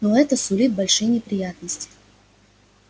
но это сулит большие неприятности